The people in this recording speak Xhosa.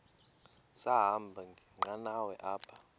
sahamba ngenqanawa apha